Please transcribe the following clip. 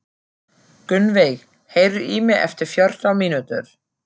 Gunnveig, heyrðu í mér eftir fjórtán mínútur.